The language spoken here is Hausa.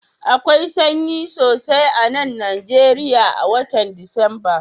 Akwai sanyi sosai a'nan Nijeriya a'wotan Disamba.